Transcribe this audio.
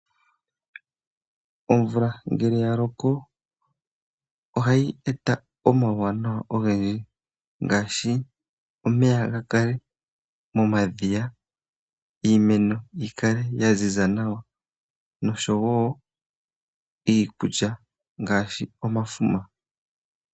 Omvula ngele ya loko ohayi eta omauwanawa ogendji ngashi omeya ga kale momadhiya, iimeno yikale ya ziza nawa nosho wo iikulya ngashi omafuma.